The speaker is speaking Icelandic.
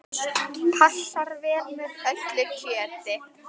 Passar vel með öllu kjöti.